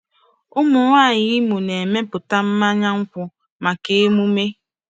Ụmụnwaanyị Imo na-emepụta mmanya nkwụ maka emume.